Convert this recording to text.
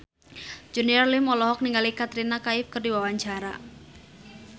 Junior Liem olohok ningali Katrina Kaif keur diwawancara